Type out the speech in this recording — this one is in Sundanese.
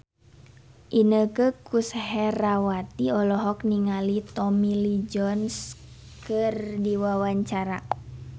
Inneke Koesherawati olohok ningali Tommy Lee Jones keur diwawancara